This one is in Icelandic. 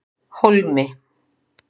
Hólmi